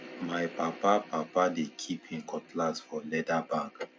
my papa papa dey kip him cutlass for leather bag